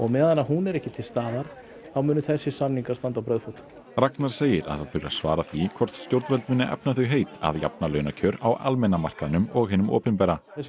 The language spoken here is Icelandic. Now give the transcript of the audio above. meðan hún er ekki til staðar þá munu þessir samningar standa á brauðfótum Ragnar segir að það þurfi að svara því hvort stjórnvöld muni efna þau heit að jafna launakjör á almenna markaðnum og hinum opinbera þessi